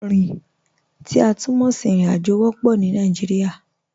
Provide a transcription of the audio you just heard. Rin, ti a tun mọ sí irin-ajo, wọ́pọ̀ pupọ̀ ni Nàìjíríà.